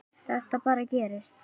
Þetta bara gerist.